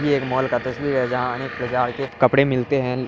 ये एक मॉल का तस्वीर है जहाँ अनेक प्रकार के कपड़े मिलते हैं।